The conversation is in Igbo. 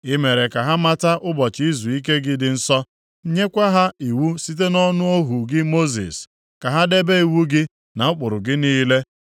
I mere ka ha mata ụbọchị izuike gị dị nsọ, nyekwa ha iwu site nʼọnụ ohu gị Mosis, ka ha debe iwu gị na ụkpụrụ gị niile.